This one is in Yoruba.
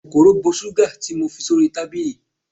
kòkòrò bo sugar ti mo fi sí orí tábìlì